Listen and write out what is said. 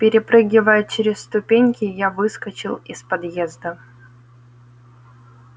перепрыгивая через ступеньки я выскочил из подъезда